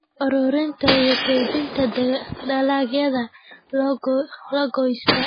Ururinta iyo kaydinta dalagyada la goostay.